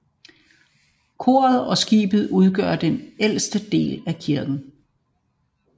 Koret og skibet udgør den ældste del af kirken